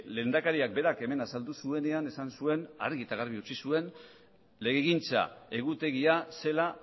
lehendakariak berak hemen azaldu zuenean esan zuen argi eta garbi utzi zuen legegintza egutegia zela